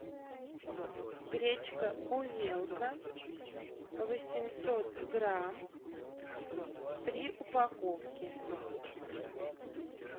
гречка увелка восемьсот грамм три упаковки